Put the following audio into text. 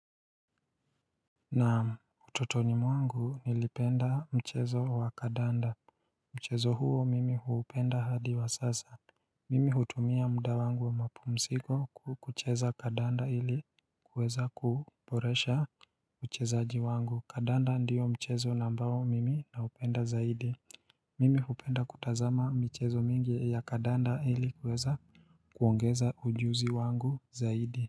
Na utotoni mwangu nilipenda mchezo wa kandanda, mchezo huo mimi huupenda hadi wa sasa Mimi hutumia muda wangu wa mapumziko kucheza kandanda hili kuweza kuboresha uchezaji wangu, kandanda ndio mchezo na mbao mimi naupenda zaidi Mimi hupenda kutazama michezo mingi ya kandanda ili kuweza kuongeza ujuzi wangu zaidi.